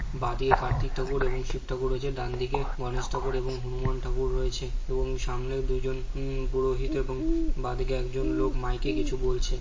বাঁদিকে কার্তিক ঠাকুর এবং শিব ঠাকুর রয়েছে ডানদিকে গণেশ ঠাকুর এবং হনুমান ঠাকুর রয়েছে এবং সামনে দুজন উম পুরোহিত এবং বাঁদিকে একজন লোক মাইক -কে কিছু বলছে।